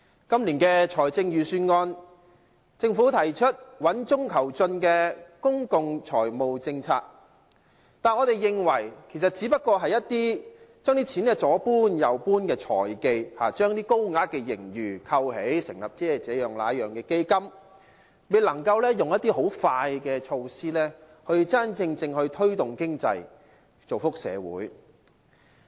今年的財政預算案，政府提出穩中求進的公共財務政策，但我們認為其實只不過是一些將錢左搬右搬的財技，將高額的盈餘扣起，成立這樣、那樣的基金，未能夠採取快速見效的措施，真正推動經濟，造福社會。